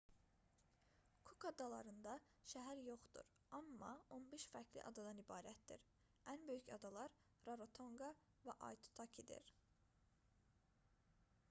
kuk adalarında şəhər yoxdur amma 15 fərqli adadan ibarətdir ən böyük adalar rarotonqa və aitutakidir